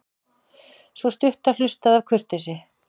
Sú stutta hlustaði af kurteisi.